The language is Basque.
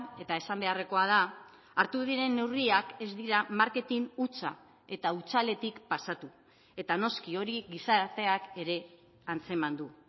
eta esan beharrekoa da hartu diren neurriak ez dira marketing hutsa eta hutsaletik pasatu eta noski hori gizarteak ere antzeman du